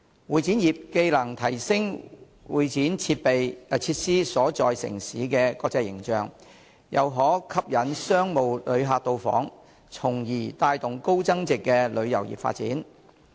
會展業既能提升會展設施所在城市的國際形象，又可吸引商務旅客到訪，從而帶動高增值旅遊業的發展。